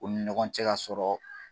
U ni ɲɔgɔn cɛ ka sɔrɔ